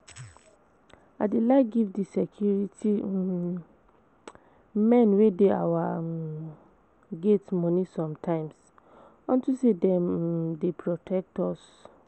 I dey like to give the security um men wey dey our um gate money sometimes unto say dem um dey protect us